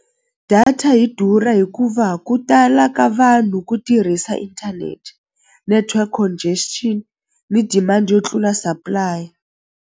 Data yi durha hikuva ku tala ka vanhu ku tirhisa inthanete network congestion ni demand yo tlula supply.